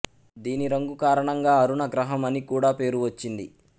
దీని రంగు కారణంగా అరుణ గ్రహం అని కూడా పేరు వచ్చింది